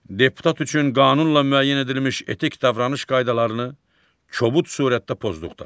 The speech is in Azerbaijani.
Deputat üçün qanunla müəyyən edilmiş etik davranış qaydalarını kobud surətdə pozduqda.